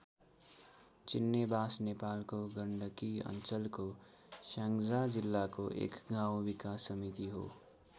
चिन्नेबास नेपालको गण्डकी अञ्चलको स्याङ्जा जिल्लाको एक गाउँ विकास समिति हो।